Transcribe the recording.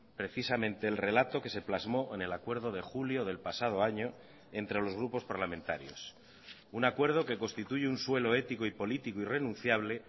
precisamente el relato que se plasmó en el acuerdo de julio del pasado año entre los grupos parlamentarios un acuerdo que constituye un suelo ético y político irrenunciable